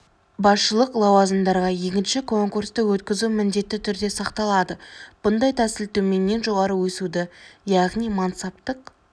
басшылық лауазымдарға екінші конкурсты өткізу міндетті түрде сақталады бұндай тәсіл төменнен жоғарығы өсуді яғни мансаптық